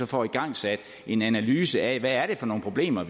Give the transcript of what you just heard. får igangsat en analyse af hvad det er for nogle problemer